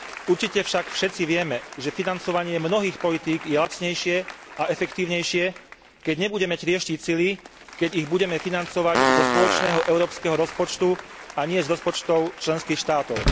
Určite však všetci vieme, že financovanie mnohých politík je lacnejšie a efektívnejšie, keď nebudeme trieštiť sily, keď ich budeme financovať zo spoločného európskeho rozpočtu, a nie z rozpočtov členských štátov.